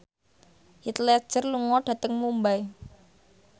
Heath Ledger lunga dhateng Mumbai